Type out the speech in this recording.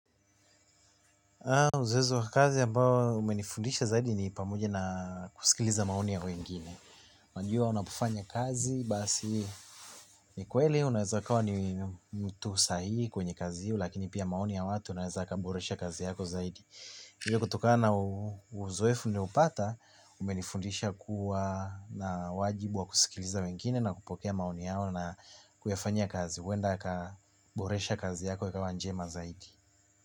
Mzozo wa kazi ya ambao umenifundisha zaidi ni pamoja na kusikiliza maoni ya wengine. Wanajua unapofanya kazi basi ni kweli unaweza ukawa ni mtu sahihi kwenye kazi hiyo lakini pia maoni ya watu unaweza kuboresha kazi yako zaidi. Hivyo kutokana uzoefu ninaopata umenifundisha kuwa na wajibu wa kusikiliza wengine na kupokea maoni yao na kuyafanyia kazi. Huenda aka boresha kazi yako ikawa njema zaidi.